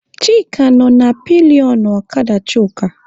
Chika nọ na pilionụ ọkada Chuka.